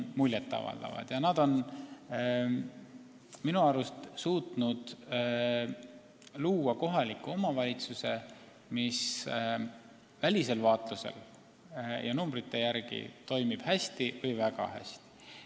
Nad on minu arust suutnud luua kohaliku omavalitsuse, mis välisel vaatlusel ja numbrite järgi toimib hästi või väga hästi.